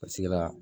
A sigira